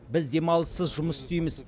біз демалыссыз жұмыс істейміз